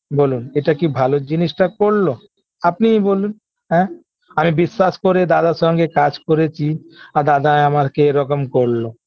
বলুন এটা কি ভালো জিনিসটা করল আপনিই বলুন এ আমি বিশ্বাস করে দাদার সঙ্গে কাজ করেছি আর দাদায় আমাকে এরকম করলো